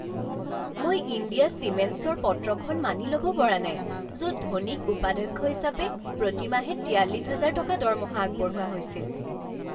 মই ইণ্ডিয়া চিমেণ্টছৰ পত্ৰখন মানি ল'ব পৰা নাই য'ত ধোনীক উপাধ্যক্ষ হিচাপে প্ৰতি মাহে তিয়াল্লিছ হাজাৰ টকা দৰমহা আগবঢ়োৱা হৈছিল।